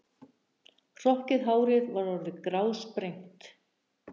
Hrokkið hárið var orðið grásprengt.